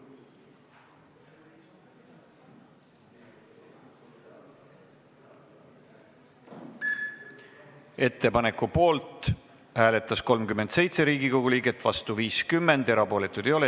Hääletustulemused Ettepaneku poolt hääletas 37 Riigikogu liiget, vastu oli 50, erapooletuid ei olnud.